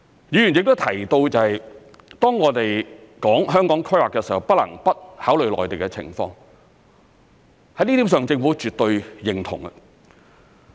議員亦提到，當我們談香港規劃的時候，不能不考慮內地的情況，在這點上政府絕對認同。